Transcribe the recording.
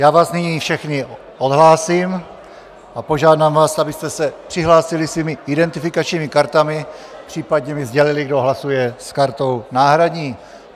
Já vás nyní všechny odhlásím a požádám vás, abyste se přihlásili svými identifikačními kartami, případně mi sdělili, kdo hlasuje s kartou náhradní.